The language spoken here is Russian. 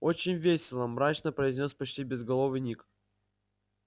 очень весело мрачно произнёс почти безголовый ник